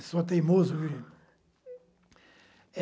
Eu sou teimoso